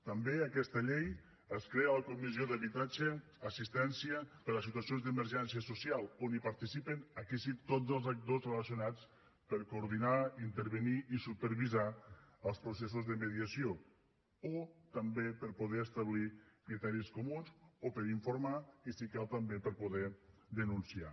també en aquesta llei es crea la comissió d’habitatge assistència per a les situacions d’emergència social on participen aquí sí tots els actors relacionats per coordinar intervenir i supervisar els processos de mediació o també per poder establir criteris comuns o per informar i si cal també per poder denunciar